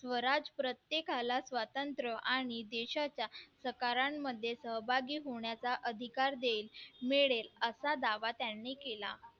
स्वराज प्रत्येकाला स्वातंत्र्य आणि देशाच्या सकारांमध्ये सहभागी होण्याचा अधिकार देईल मिळेल असा दावा त्यांनी केला